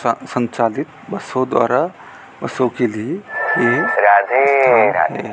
संचालित बसों द्वारा बसों के लिए ये राधे राधे स्थान है।